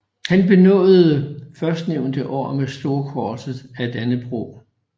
Han benådedes førstnævnte år med Storkorset af Dannebrog